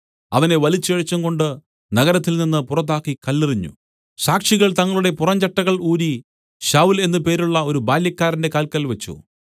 അവനെ വലിച്ചിഴച്ചും കൊണ്ട് നഗരത്തിൽനിന്ന് പുറത്താക്കി കല്ലെറിഞ്ഞു സാക്ഷികൾ തങ്ങളുടെ പുറംചട്ടകൾ ഊരി ശൌല്‍ എന്ന് പേരുള്ള ഒരു ബാല്യക്കാരന്റെ കാൽക്കൽ വെച്ച്